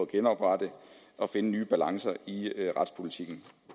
genoprette og finde nye balancer i retspolitikken